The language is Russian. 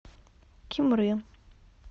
кимры